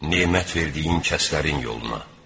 Nemət verdiyin kəslərin yoluna.